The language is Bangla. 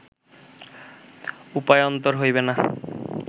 উপায়ান্তর হইবে না